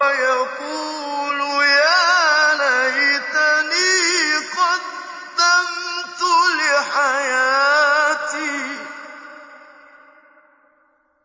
يَقُولُ يَا لَيْتَنِي قَدَّمْتُ لِحَيَاتِي